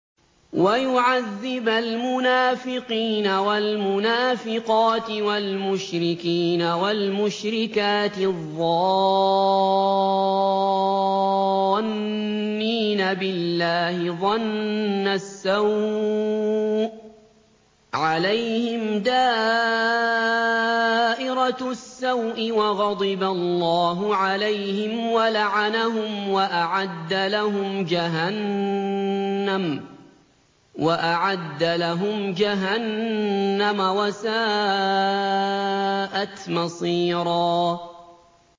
وَيُعَذِّبَ الْمُنَافِقِينَ وَالْمُنَافِقَاتِ وَالْمُشْرِكِينَ وَالْمُشْرِكَاتِ الظَّانِّينَ بِاللَّهِ ظَنَّ السَّوْءِ ۚ عَلَيْهِمْ دَائِرَةُ السَّوْءِ ۖ وَغَضِبَ اللَّهُ عَلَيْهِمْ وَلَعَنَهُمْ وَأَعَدَّ لَهُمْ جَهَنَّمَ ۖ وَسَاءَتْ مَصِيرًا